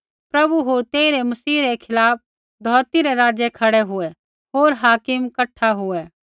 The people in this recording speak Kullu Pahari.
प्रभु होर तेइरै मसीह रै खिलाफ़ धौरती रै राज़ै खड़ै हुऐ होर हाकिम कठा हुऐ